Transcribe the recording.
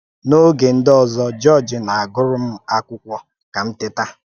N’òge ndị ọzọ, Jọ́ọ̀j na-agụ́rụ̀ m akwụkwọ ka m tẹ́tà.